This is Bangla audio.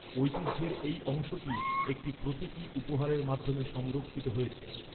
ঐতিহ্যের এই অংশটি, একটি প্রতীকী উপহারের মাধ্যমে সংরক্ষিত হয়েছে।